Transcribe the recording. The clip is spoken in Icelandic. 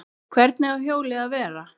Hvernig á hjólið að vera?